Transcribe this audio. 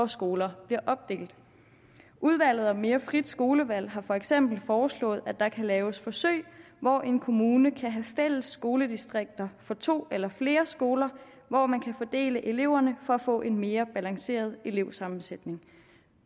skoler bliver opdelt udvalget om mere frit skolevalg har for eksempel foreslået at der kan laves forsøg hvor en kommune kan have fælles skoledistrikter for to eller flere skoler hvor man kan fordele eleverne for at få en mere balanceret elevsammensætning